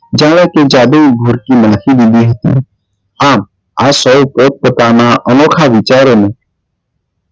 જાણે કે જાદુઈ નાખી દીધી આમ આપ સૌ પોત પોતાના અનોખા વિચારો નું